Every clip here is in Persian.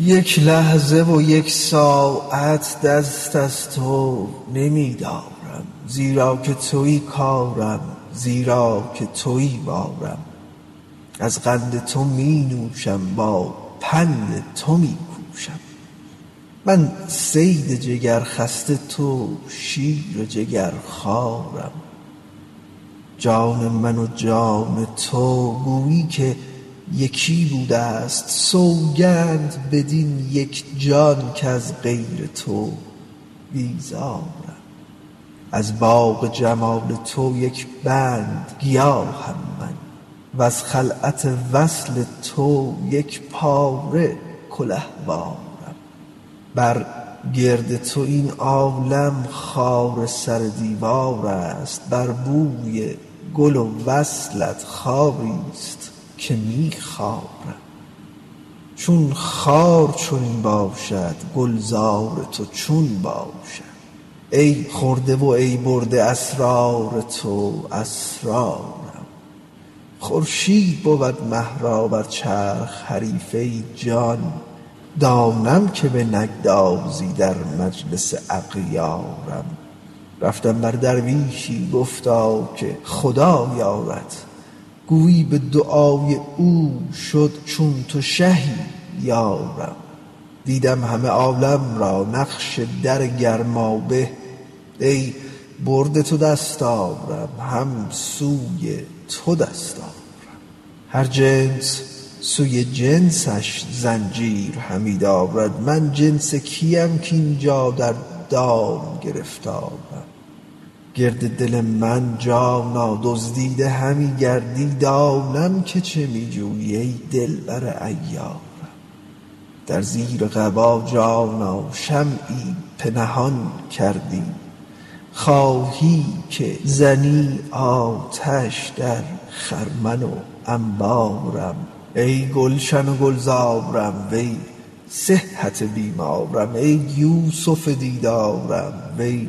یک لحظه و یک ساعت دست از تو نمی دارم زیرا که توی کارم زیرا که توی بارم از قند تو می نوشم با پند تو می کوشم من صید جگرخسته تو شیر جگرخوارم جان من و جان تو گویی که یکی بوده ست سوگند بدین یک جان کز غیر تو بیزارم از باغ جمال تو یک بند گیاهم من وز خلعت وصل تو یک پاره کلهوارم بر گرد تو این عالم خار سر دیوار است بر بوی گل وصلت خاری است که می خارم چون خار چنین باشد گلزار تو چون باشد ای خورده و ای برده اسرار تو اسرارم خورشید بود مه را بر چرخ حریف ای جان دانم که بنگذاری در مجلس اغیارم رفتم بر درویشی گفتا که خدا یارت گویی به دعای او شد چون تو شهی یارم دیدم همه عالم را نقش در گرمابه ای برده تو دستارم هم سوی تو دست آرم هر جنس سوی جنسش زنجیر همی درد من جنس کیم کاین جا در دام گرفتارم گرد دل من جانا دزدیده همی گردی دانم که چه می جویی ای دلبر عیارم در زیر قبا جانا شمعی پنهان داری خواهی که زنی آتش در خرمن و انبارم ای گلشن و گلزارم وی صحت بیمارم ای یوسف دیدارم وی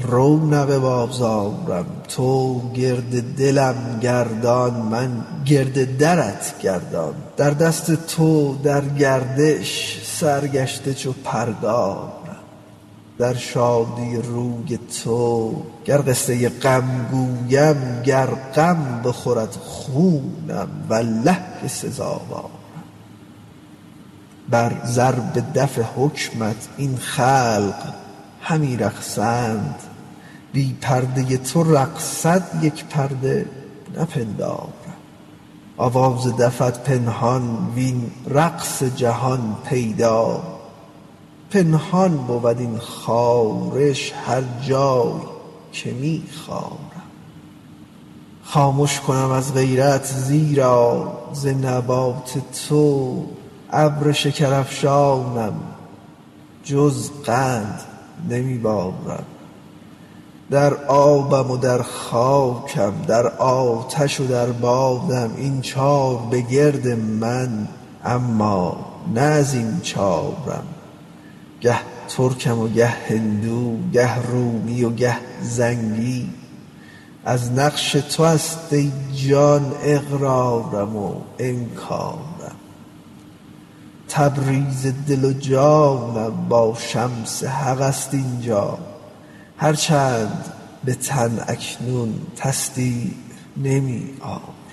رونق بازارم تو گرد دلم گردان من گرد درت گردان در دست تو در گردش سرگشته چو پرگارم در شادی روی تو گر قصه غم گویم گر غم بخورد خونم والله که سزاوارم بر ضرب دف حکمت این خلق همی رقصند بی پرده تو رقصد یک پرده نپندارم آواز دفت پنهان وین رقص جهان پیدا پنهان بود این خارش هر جای که می خارم خامش کنم از غیرت زیرا ز نبات تو ابر شکرافشانم جز قند نمی بارم در آبم و در خاکم در آتش و در بادم این چار بگرد من اما نه از این چارم گه ترکم و گه هندو گه رومی و گه زنگی از نقش تو است ای جان اقرارم و انکارم تبریز دل و جانم با شمس حق است این جا هر چند به تن اکنون تصدیع نمی آرم